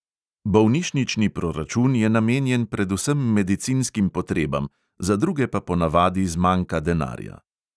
Bolnišnični proračun je namenjen predvsem medicinskim potrebam, za druge pa ponavadi zmanjka denarja.